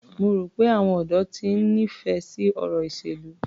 Mo rò pé àwọn ọ̀dọ́ ti ń nífẹ̀ẹ́ sí ọ̀rọ̀ ìṣèlú.